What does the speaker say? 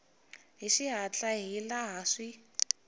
hi xihatla hi laha swi